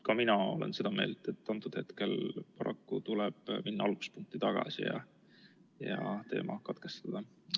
Ka mina olen seda meelt, et praegusel hetkel paraku tuleb minna alguspunkti tagasi ja teema katkestada.